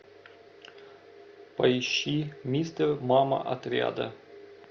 поищи мистер мама отряда